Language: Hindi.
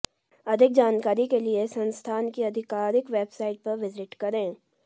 अधिक जानकारी के लिए संस्थान की आधिकारिक वेबसाइट पर विजिट करें